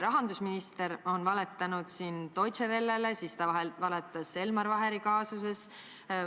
Rahandusminister on valetanud Deutsche Wellega seoses, samuti valetas ta Elmar Vaheri kaasuses.